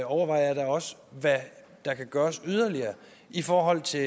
overvejer jeg da også hvad der kan gøres yderligere i forhold til